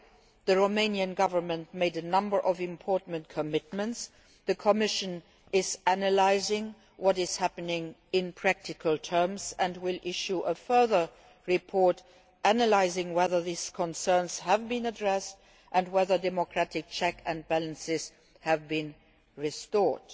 2012. The Romanian Government made a number of important commitments, and the Commission is analysing what is happening in practical terms and will issue a further report analysing whether these concerns have been addressed and whether democratic checks and balances have been restored.